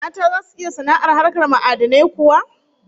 Mata zasu iya sana'ar hakar ma'adinai kuwa?